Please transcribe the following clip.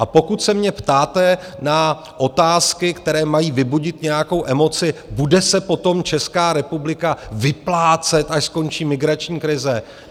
A pokud se mě ptáte na otázky, které mají vybudit nějakou emoci - bude se potom Česká republika vyplácet, až skončí migrační krize?